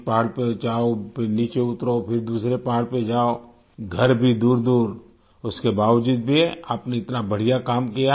एक पहाड़ पे जाओ फिर नीचे उतरो फिर दूसरे पहाड़ पे जाओ घर भी दूरदूर उसके बावजूद भी आपने इतना बढ़िया काम किया